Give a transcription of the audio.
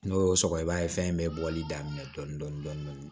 N'o y'o sɔgɔ i b'a ye fɛn bɛɛ bɔli daminɛ dɔɔnin dɔɔnin